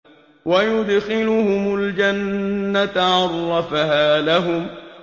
وَيُدْخِلُهُمُ الْجَنَّةَ عَرَّفَهَا لَهُمْ